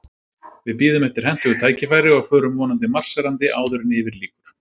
Við bíðum eftir hentugu tækifæri, og förum vonandi marserandi áður en yfir lýkur.